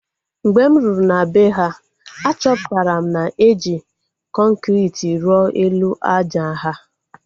Mgbe m ruru na bee ha, achọpụtara na eji kọnkriti rụọ elu àjà ha